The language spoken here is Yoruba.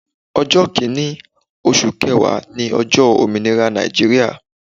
Ọjọ́ kìnì osù kẹẹ̀wá ní ojọ́ Òmìnira Nàìjíríà